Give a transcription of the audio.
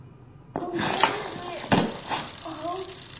Hún heyrði hósta.